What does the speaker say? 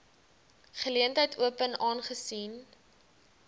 geleentheid open aangesien